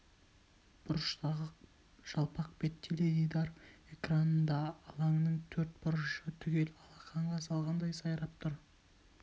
бұрыштағы жалпақ бет теледидар экранында алаңның төрт бұрышы түгел алақанға салғандай сайрап тұр